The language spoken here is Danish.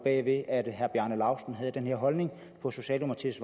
at herre bjarne laustsen havde den her holdning på socialdemokratiets